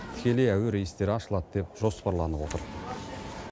тікелей әуе рейстері ашылады деп жоспарланып отыр